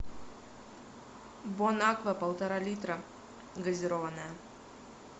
бон аква полтора литра газированная